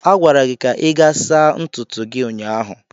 A gwara gị ka ị gaa saa ntutu gị ụnyaahụ.